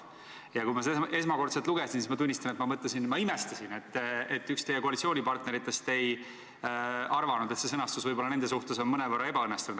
Ja kui ma seda esmakordselt lugesin, siis, tuleb tunnistada, ma imestasin, et üks teie koalitsioonipartneritest ei arvanud, et see sõnastus võib olla nende suhtes ehk mõnevõrra ebaõnnestunud.